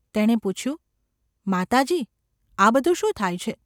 તેણે પૂછ્યું: ‘માતાજી ! આ બધું શું થાય છે?